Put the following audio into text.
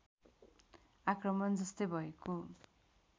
आक्रमण जस्तै भएको